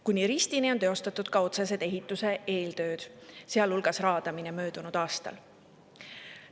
Kuni Ristini on teostatud ka ehituse otsesed eeltööd, sealhulgas raadamine möödunud aastal.